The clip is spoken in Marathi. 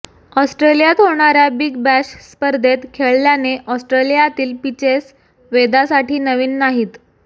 ऑस्ट्रेलियात होणाऱ्या बिग बॅश स्पर्धेत खेळल्याने ऑस्ट्रेलियातील पिचेस वेदासाठी नवीन नाहीत